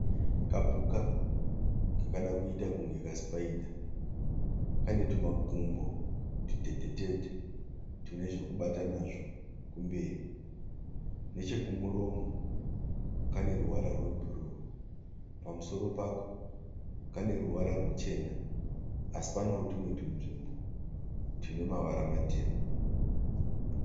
Kapuka kakada kuita kunge kasipaidha. Kane tumakumbo tutete tete tune zvekubata nazvo kumberi. Nekuchekumuromo kane ruvara rwebhuruu. Pamusoro pako kane ruvara ruchena asi panewo tumwe tunzvimbo tune mavara matema.